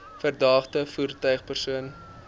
verdagte voertuig persoon